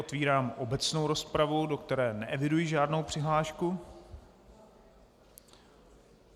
Otevírám obecnou rozpravu, do které neeviduji žádnou přihlášku.